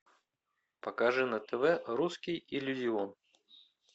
покажи на тв русский иллюзион